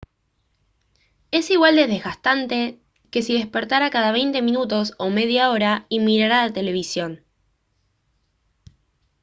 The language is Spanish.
es igual de desgastante que si despertara cada veinte minutos o media hora y mirara la televisión